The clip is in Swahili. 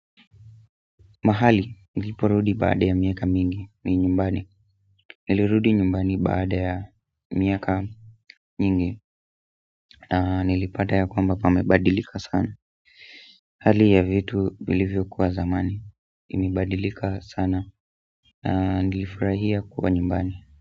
Mahali niliporudi baada ya miaka mingi ni nyumbani nilirudi nyumbani baada ya miaka mingi na nilipata ya kwamba pamebadilika sana hali ya vitu vilivyokuwa zamani imebadilika sana na nilifurahia kuwa nyumbani.